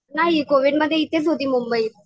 नाही कोविडमध्ये इथेच होती मुंबईत.